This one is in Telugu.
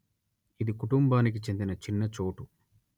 ఇది కుటుంబానికి చెందిన చిన్న చోటు